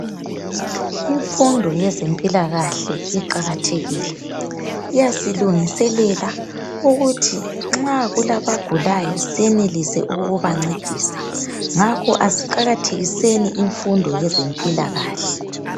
Imfundo yezempilakahle iqakathekile, iyasilungiselela ukuthi nxa kulabagulayo, senelise ukubancedisa, ngakho asiqakathekiseni imfundo yezempilakahle.